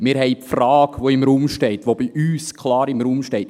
Wir haben die Frage, die bei uns klar im Raum steht: